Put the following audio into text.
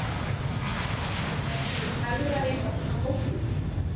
En er einhver hagræðing af svona hóteli?